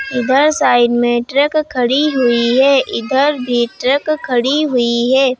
इधर साइड में ट्रक खड़ी हुई है इधर भी ट्रक खड़ी हुई है।